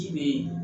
Ci be yen